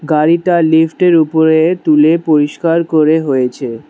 গাড়িটা লিফ্ট এর উপরে তুলে পরিষ্কার করে হয়েছে।